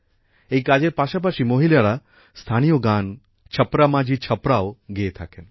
এই কাজের পাশাপাশি মহিলারা স্থানীয় গান ছপড়া মাঝি ছপড়াও গেয়ে থাকেন